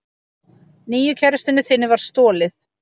Nýju kærustunni þinni var stolið.